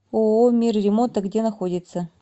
ооо мир ремонта где находится